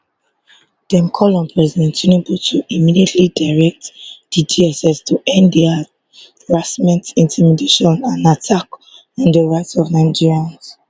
dem call on president tinubu to immediately direct di dss to end di harassment intimidation and attack on di rights of nigerians